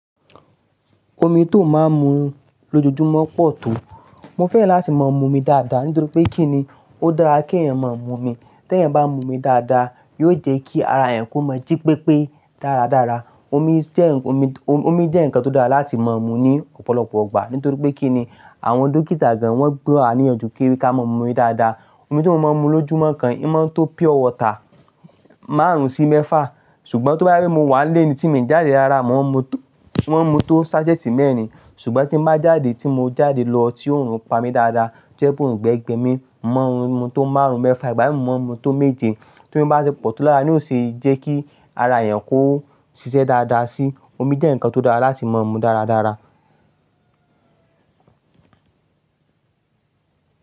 Omi tó máa ń mu lójoojúmọ́ pọ̀ tó? Mo fẹ́ran láti máa mu omi dáadáa, nítorí pé kí ni ó dára kí ẹ̀eyàn máa mu omi. Tẹ́ ẹeyàn bá mu omi dáadáa, yóò jẹ́ kí ara ẹ́eyàn kó mọ́ jí pépé dáradára. Omi jẹ́ ǹnkan tó dára láti máa mu ní ọ̀pọ̀lọpọ̀ igbà, nítorí pé kí ni àwọn dókítà gan wọ́n gba wa níyànjú kí i ká máa mu omi dáadáa. Omi tí o máa ń mu lójúmọ́ kan ì o máa ń tó pure water márùn-ún sí mẹ́fà, ṣùgbọ́n tó bá je pé mo wà nile ni tíì mi jáde rára, mò ń mu tó sachet mẹ́rin. Ṣùgbọ́n tí n bá jáde, tí mo jáde lọ, tí òòrùn ń pa mí dáadáa, tí o je pe oungbe gbẹ mi, mò maa n mu tó márùn-ún mẹ́fà, ìgbà mìí mò maa ń mu tó méje. Tí òmi bá ṣe pọ̀ tó lára ní ó ṣe é jẹ́ kí ara èeyàn kó ṣiṣẹ́ dáadáa sí. Omi jẹ́ ǹkan tó dára láti máa ń mu dáradára.